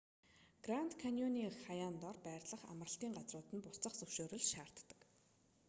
гранд каньоны хаяан дор байрлах амралтын газрууд нь буцах зөвшөөрөл шаарддаг